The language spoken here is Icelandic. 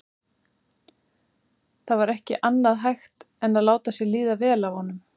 Það var ekki annað hægt en láta sér líða vel af honum.